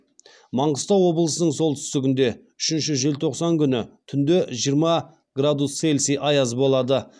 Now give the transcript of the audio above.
маңғыстау облысының солтүстігінде үшінші желтоқсан күні түнде жиырма градус целсии аяз болады